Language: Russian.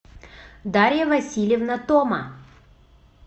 дарья васильевна тома